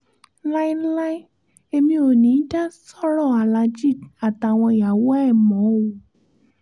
láéláé èmi ò ní í dá sọ́rọ̀ aláàjì àtàwọn ìyàwó ẹ̀ mọ́ o